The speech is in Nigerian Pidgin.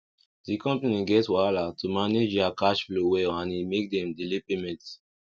the company get wahala to manage their cash flow well and e make dem delay payment